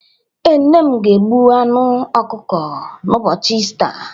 Ee, nne m ga-egbu anụ okuko n’ụbọchị Ista.